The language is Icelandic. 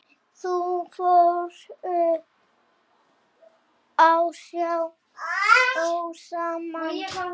Þau fóru á sjó saman.